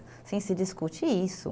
Assim, se discute isso.